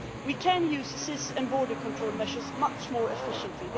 We can use SIS and border control measures much more efficiently.